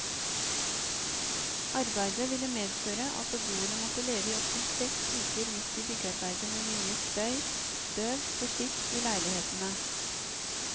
Arbeidet ville medføre at beboerne måtte leve i opptil seks uker midt i byggearbeidet med mye støy, støv og skitt i leilighetene.